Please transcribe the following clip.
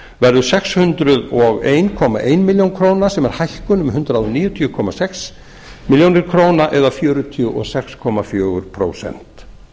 verður sex hundruð og einn komma eina milljón króna sem er hækkun um hundrað níutíu komma sex milljónir króna eða fjörutíu og sex komma fjögur prósent